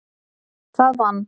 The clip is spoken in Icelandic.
Það vann